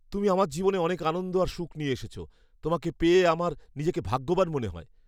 তুমি আমার জীবনে অনেক আনন্দ আর সুখ নিয়ে এসেছ। তোমাকে পেয়ে আমার নিজেকে ভাগ্যবান মনে হয়।